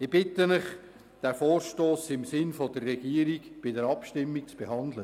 Ich bitte Sie, den Vorstoss bei der Abstimmung im Sinn der Regierung zu behandeln.